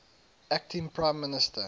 acting prime minister